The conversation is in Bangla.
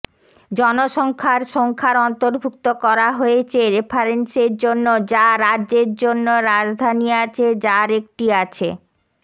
জনসংখ্যার সংখ্যার অন্তর্ভুক্ত করা হয়েছে রেফারেন্সের জন্য যা রাজ্যের জন্য রাজধানী আছে যার একটি আছে